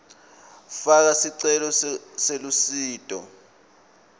faka sicelo selusito